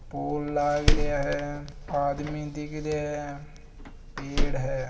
पोल लाग रहिया है। आदमी दिखरिया है। पेड़ है।